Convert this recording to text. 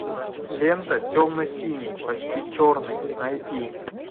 лента темно синий почти черный найти